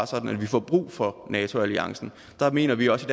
sådan at vi får brug for nato alliancen der mener vi også